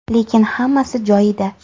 Lekin hammasi joyida.